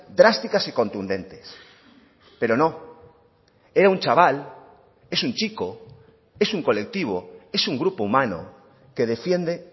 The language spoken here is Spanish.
drásticas y contundentes pero no era un chaval es un chico es un colectivo es un grupo humano que defiende